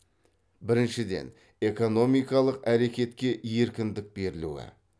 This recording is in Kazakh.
біріншіден экономикалық әрекетке еркіндік берілуі